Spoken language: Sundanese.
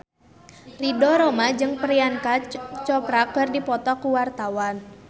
Ridho Roma jeung Priyanka Chopra keur dipoto ku wartawan